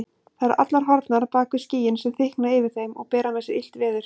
Þær eru allar horfnar bak við skýin sem þykkna yfir þeim og bera með sér illt veður.